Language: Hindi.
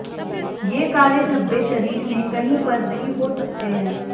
ये काले धब्बे शरीर में कहीं पर भी हो सकते हैं